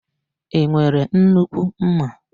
I nwere nnukwu ḿmà?